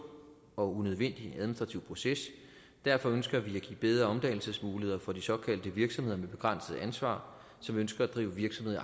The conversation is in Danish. og unødvendig administrativ proces derfor ønsker vi at give bedre omdannelsesmuligheder for de såkaldte virksomheder med begrænset ansvar som ønsker at drive virksomhed